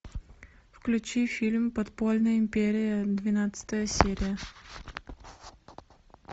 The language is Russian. включи фильм подпольная империя двенадцатая серия